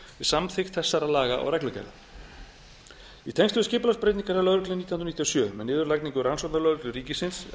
samþykkt þessara laga og reglugerða í tengslum við skipulagsbreytingar hjá lögreglunni nítján hundruð níutíu og sjö með niðurlagningu rannsóknarlögreglu ríkisins